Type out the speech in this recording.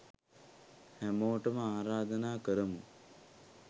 හැමෝටම ආරාධනා කරමු